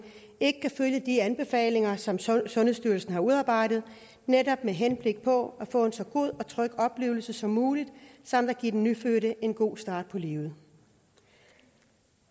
ikke kan følge de anbefalinger som sundhedsstyrelsen har udarbejdet netop med henblik på at få en så god og tryg oplevelse som muligt samt at give den nyfødte en god start på livet